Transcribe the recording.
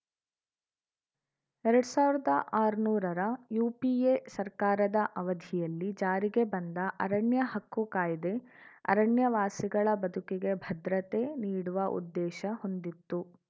ಎರಡ್ ಸಾವಿರ್ದ ಆರ್ನೂರರ ಯುಪಿಎ ಸರ್ಕಾರದ ಅವಧಿಯಲ್ಲಿ ಜಾರಿಗೆ ಬಂದ ಅರಣ್ಯ ಹಕ್ಕುಕಾಯ್ದೆ ಅರಣ್ಯ ವಾಸಿಗಳ ಬದುಕಿಗೆ ಭದ್ರತೆ ನೀಡುವ ಉದ್ದೇಶ ಹೊಂದಿತ್ತು